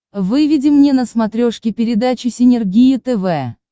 выведи мне на смотрешке передачу синергия тв